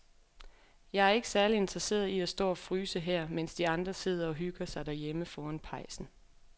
Jeg er ikke særlig interesseret i at stå og fryse her, mens de andre sidder og hygger sig derhjemme foran pejsen.